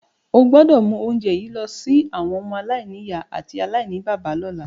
O gbọ́dọ̀ mu ounje yi lọ si àwọn ọmọ-aláìnìyá àti aláìníbàbá lọ́la.